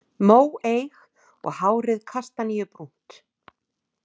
Móeyg og hárið kastaníubrúnt.